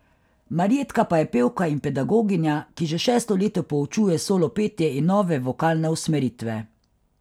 Marjetka pa je pevka in pedagoginja, ki že šesto leto poučuje solo petje in nove vokalne usmeritve.